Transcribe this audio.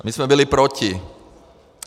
A my jsme byli proti.